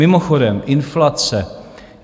Mimochodem, inflace.